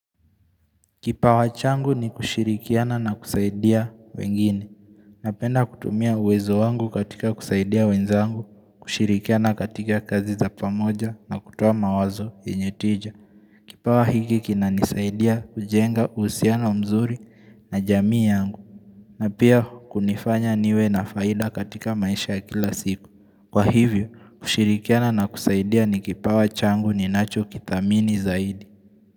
Kipawa changu ni kushirikiana na kusaidia wengine. Napenda kutumia uwezo wangu katika kusaidia wenzangu. Kushirikiana katika kazi za pamoja na kutoa mawazo yenye tija. Kipawa hiki kina nisaidia kujenga husiano mzuri na jamii yangu. Na pia kunifanya niwe na faida katika maisha ya kila siku. Kwa hivyo, kushirikiana na kusaidia ni kipawa changu ninacho kidhamini zaidi.